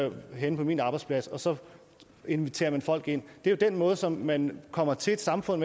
et job henne på min arbejdsplads og så inviterer man folk ind det er jo den måde som man kommer til et samfund